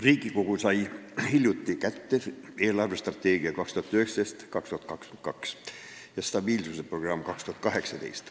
Riigikogu sai hiljuti kätte dokumendi "Riigi eelarvestrateegia 2019–2022 ja stabiilsusprogramm 2018".